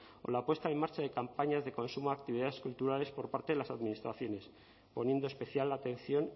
o la puesta en marcha de campañas de consumo de actividades culturales por parte de las administraciones poniendo especial atención